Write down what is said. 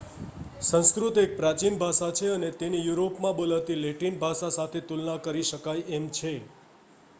સંસ્કૃત એક પ્રાચીન ભાષા છે અને તેની યુરોપમાં બોલાતી લેટિન ભાષા સાથે તુલના કરી શકાય એમ છે